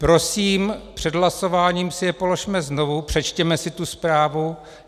Prosím, před hlasováním si je položme znovu, přečtěme si tu zprávu.